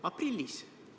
Aprillis!